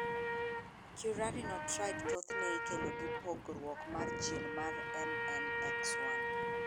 Currarino triad thothne ikelo gi pogruok mar gin mar MNX1 .